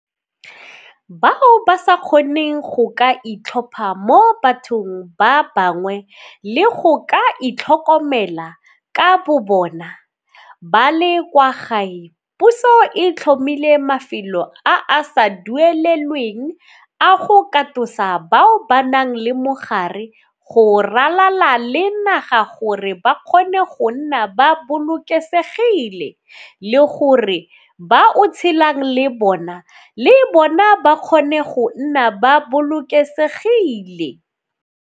Bao ba sa kgoneng go ka itlhopha mo bathong ba bangwe le go ka itlhokomela ka bobona ba le kwa gae, puso e tlhomile mafelo a a sa duelelweng a go katosa bao ba nang le mogare go ralala le naga gore ba kgone go nna ba bolokesegile le gore ba o tshelang le bona le bona ba kgone go nna ba bolokesegile.